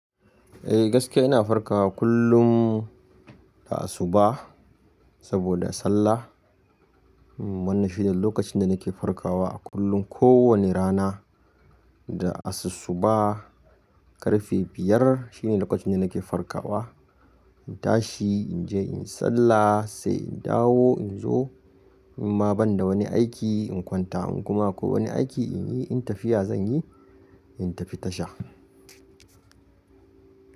Eh gaskiya ina farkawa kullum da asuba saboda sallah. Wanna shine lokacin da nake farkawa kullum. Ko wani rana da asu suba ƙarfe biyar shine lokacin da nake farkawa. In tashi in je in sallah sai in dawo in zo. In ma ban da wani aiki in kwanta. In kuma akwak wani aiki in yi, in tafiya zan yi, in tafi tasha.